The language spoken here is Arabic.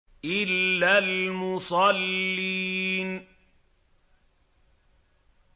إِلَّا الْمُصَلِّينَ